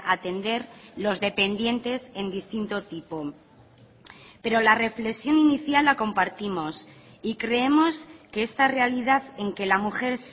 atender los dependientes en distinto tipo pero la reflexión inicial la compartimos y creemos que esta realidad en que la mujer